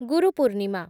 Guru Purnima